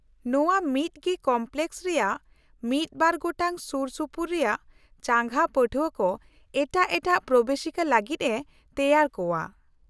-ᱱᱚᱶᱟ ᱢᱤᱫᱜᱮ ᱠᱚᱢᱯᱞᱮᱠᱚᱥ ᱨᱮᱭᱟᱜ ᱢᱤᱫ ᱵᱟᱨ ᱜᱚᱴᱟᱝ ᱥᱩᱨᱼᱥᱩᱯᱩᱨ ᱨᱮᱭᱟᱜ ᱪᱟᱸᱜᱟ ᱯᱟᱹᱴᱷᱣᱟᱹ ᱠᱚ ᱮᱴᱟᱜ ᱮᱴᱟᱜ ᱯᱨᱚᱵᱮᱥᱤᱠᱟ ᱞᱟᱹᱜᱤᱫ ᱮ ᱛᱮᱣᱟᱨ ᱠᱚᱶᱟ ᱾